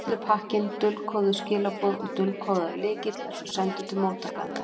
Allur pakkinn, dulkóðuð skilaboð og dulkóðaður lykill, er svo sendur til móttakandans.